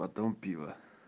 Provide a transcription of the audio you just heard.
потом пиво